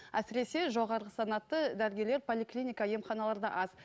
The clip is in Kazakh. әсіресе жоғары санатты дәрігерлер поликлиника емханаларда аз